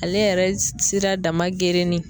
Ale yɛrɛ sira dama gerennin